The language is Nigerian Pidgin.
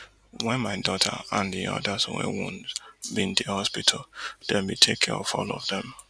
wen my daughter and di odas wey wound bin dey hospital dem bin take care of all of dem